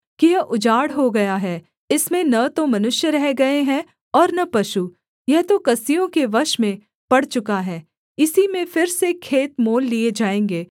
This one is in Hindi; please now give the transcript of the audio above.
कि यह उजाड़ हो गया है इसमें न तो मनुष्य रह गए हैं और न पशु यह तो कसदियों के वश में पड़ चुका है इसी में फिर से खेत मोल लिए जाएँगे